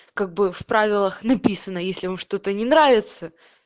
как бы в правилах написано если вам что-то не нравится